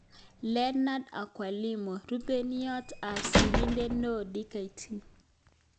Leornard Akwilapo. Rupeiywot ap Sirindeet neoo-Dkt